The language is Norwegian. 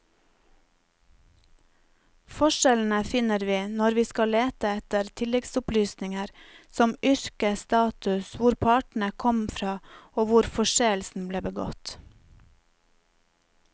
Forskjellene finner vi når vi skal lete etter tilleggsopplysninger som yrke, status, hvor partene kom fra og hvor forseelsen ble begått.